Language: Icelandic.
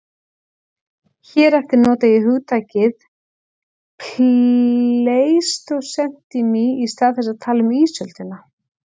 Hér eftir nota ég hugtakið pleistósentími í stað þess að tala um ísöldina.